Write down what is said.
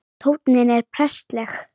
Tónninn er prestleg